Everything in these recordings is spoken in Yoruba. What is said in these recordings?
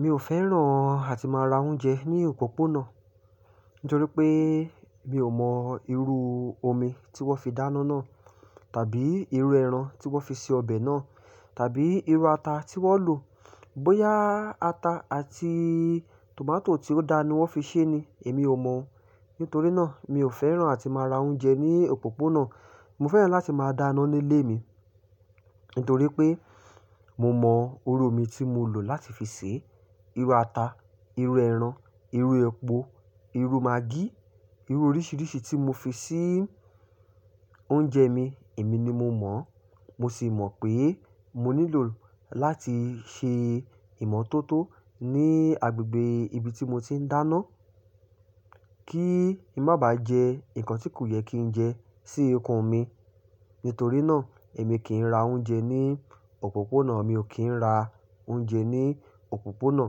Mi ò fẹ́ràn àti máa ra oúnjẹ ní òpópónà, nítorí pé mi ò mọ irú omi tí wọ́n fi dáná náà, tàbí irú ẹran tí wọ́n fi ṣe ọbẹ̀ náà, tàbí irú ata tí wọ́n lò. Bóyá ata àti tomato tí ó dáa ni wọ́n fi ṣé ni, èmi ò mọ̀. Nítorí náà, mi ò fẹ́ràn àti máa ra oúnjẹ ní òpópónà. Mo fẹ́ràn láti máa dáná nílé mi, nítorí pé mo mọ irú omi tí mo lò láti fi sè, irú ata, irú ẹran, irú epo, irú maggi, irú oríṣìíríṣìí tí mo fi ṣé oúnjẹ mi, èmi ni mo mọ̀. Mo sì mọ̀ pé mo nílò láti ṣe ìmọ̀tótó ní agbègbè ibi tí mo ti ń dáná, kí ì má bà jẹ nǹkan tí kò yẹ kí n jẹ sí ikún mi. Nítorí náà, èmi kì ń ra oúnjẹ ní òpópónà. Mi ò kí ń ra oúnjẹ ní òpópónà,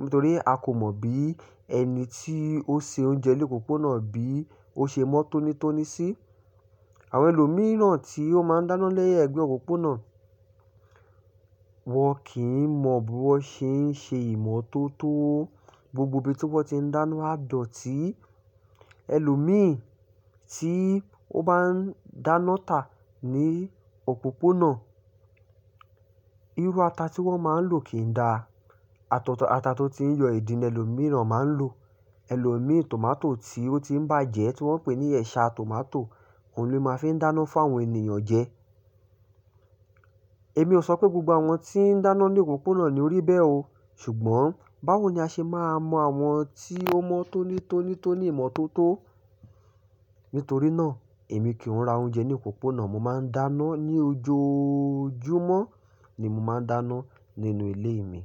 nítorí a kò mọ̀ bí ẹni tí ó ṣe oúnjẹ lé òpópónà bí ó ṣe mọ́ tónítóní sí. Àwọn ẹlòmíràn tí ó máa ń dáná lẹ́yìn ẹgbẹ́ òpópónà, wọ́n kì ń mọ bí wọ́n ṣé ń ṣe ìmọ̀tótó. Gbogbo ibi tí wọ́n ti ń dáná a dọ̀tí. Ẹlòmí tí ó bá ń dáná tà ní òpópónà, irú ata tí wọ́n máa ń lò kì ń da. Atọ̀tọ̀ ata tó tí ń yọ ìdín, lẹlòmíràn máa ń lò. Ẹlòmíi tomato tí ó ti ń bàjẹ́, tí wọ́n ń pè ní ẹṣa tomato, òun ló máa ń fi dáná fún àwọn ènìyàn jẹ. Èmi ò sọ pé gbogbo àwọn tí ń dáná lé òpópónà ni orí bẹ́ o. Ṣùgbọ́n báwo ni a ṣe máa mọ àwọn tí ó mọ́ tónítóní tó ní ìmọ̀tótó? Nítorí náà, èmi kì ń ra oúnjẹ ní òpópónà. Mo máa ń dáná ní ojojúmọ́ ni mo máa ń dáná nínú ilé mi.